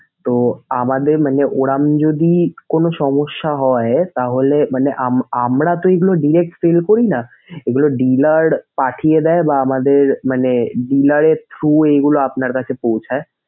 তো আমাদের মানে ওরকম যদি কোনো সমস্যা হয় তাহলে আম~ আমরা তো এগুলা direct sell করিনা। এগুলা dealer পাঠিয়ে দেয় বা আমাদের মানে dealer এর through এগুলা আপনার কাছে পৌছায়।